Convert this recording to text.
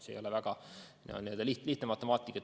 See ei ole väga lihtne matemaatika.